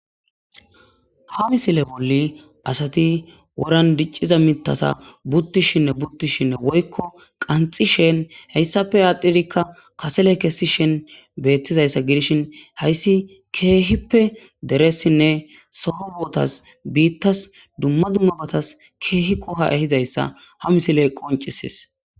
ha misile bolli asati woran dicciza mitasa buttishinne buttishinne woykko qanxi shen heyssafe aaddhirikka kasele kessi shen beettizayssa gidishin hayssi keehippe deressinne soho botas biittas dumma dummabatas keehi qoha ehizayssa ha misiley qoncisis